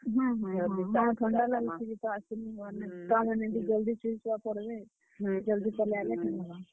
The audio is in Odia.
ହୁଁ ହୁଁ ହୁଁ, ହଁ ଥଣ୍ଡା ଲାଗୁଛେ ଯେ ତ ଆସି ନି ହେବାର୍ ନ୍। ଛୁଆ ମାନେ ବି ଜଲ୍ ଦି ସୁଇ, ସୁଆ ପଡବେ, ଜଲ୍ ଦି ପଲେଇ ଆଏଲେ ଠିକ୍ ହେବା।